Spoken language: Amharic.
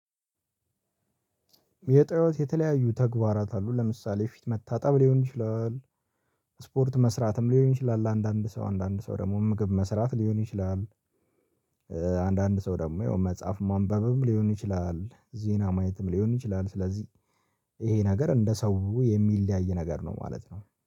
የጠዋት የተለያዩ ተግባራት አሉ ለምሳሌ ፊት መታጠብ ሊሆን ይችላል። ስፖርት መስራትም ሊሆን ይችላል አንዳንድ ሰው አንዳንድ ሰው ደግሞ ምግብ መስራት ሊሆን ይችላል። አንዳንድ ሰው ደግሞ የው መጽሐፍ ማንበብም ሊሆን ይችላል ዜና ማየትም ሊሆን ይችላል ስለዚህ ይሄ ነገር እንደ ሰው የሚለያይ ነገር ነው። ማለት ነው።